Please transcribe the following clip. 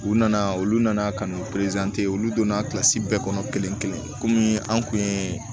U nana olu nana ka n'u olu donna bɛɛ kɔnɔ kelen kelen an kun ye